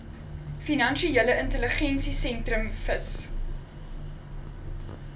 finansiële intelligensiesentrum fis